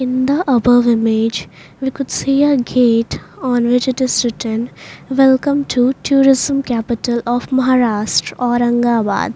In the above image we could see a gate on which it is written welcome to tourism capital of Maharashtra Aurangabad.